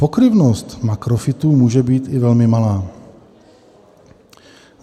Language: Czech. Pokryvnost makrofytů může být i velmi malá.